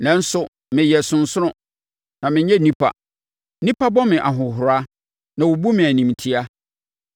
Nanso meyɛ ɔsonsono, na menyɛ onipa nnipa bɔ me ahohora na wɔbu me animtiaa.